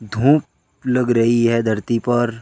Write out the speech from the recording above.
धूप लग रही है धरती पर।